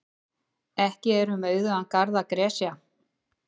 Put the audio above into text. Ekki er um auðugan garð að gresja.